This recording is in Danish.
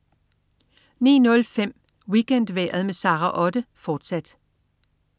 09.05 WeekendMorgen med Sara Otte, fortsat